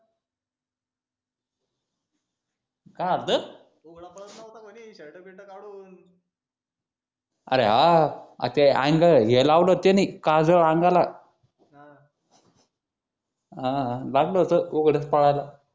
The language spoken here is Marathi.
उघड पडत होता म्हणे शर्ट बिर्ट काढून अरे हा हे लावलं होत त्यानि काजळ अंगाला हा लागलं होत उघडच पडला